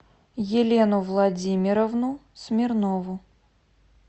елену владимировну смирнову